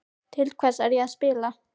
Til hvers er ég að spila?